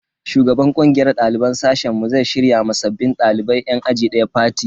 Shugaban kungiyar daliban sashen mu zai shirya ma sabbin dalibai yan aji daya fati.